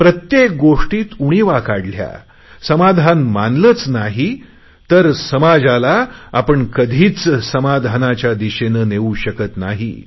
प्रत्येक गोष्टीत उणीवा काढल्या समाधान मानलेच नाही तर समाजाला कधीच समाधानाच्या दिशेने नेऊ शकत नाही